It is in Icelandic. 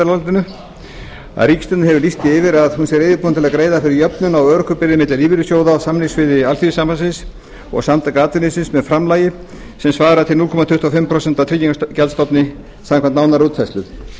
nefndarálitinu að ríkisstjórnin hefur lýst því yfir að hún sé reiðubúin til að greiða fyrir jöfnun á örorkubyrðum milli lífeyrissjóða á samningssviði alþýðusambandsins og samtaka atvinnulífsins með framlagi sem svarar til núll komma tuttugu og fimm prósent af tryggingagjaldsstofni samkvæmt nánari útfærslu ég er ekki